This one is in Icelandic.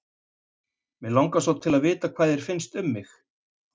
Mig langar svo til að vita hvað þér finnst um mig.